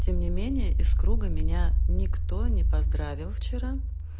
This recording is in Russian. тем не менее из круга меня никто не поздравил вчера